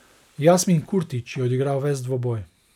Jasmin Kurtić je odigral ves dvoboj.